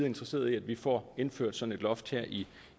interesserede i at vi får indført sådan et loft her i